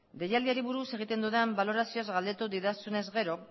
deialdiari buruz egiten dudan balorazioaz galdetu didazunez gero